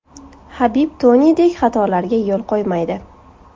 Habib Tonidek xatolarga yo‘l qo‘ymaydi.